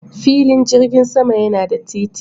Filin jirgin sama yana da titi.